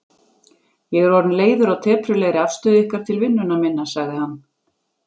Ég er orðinn leiður á teprulegri afstöðu ykkar til vinnunnar minnar, sagði hann.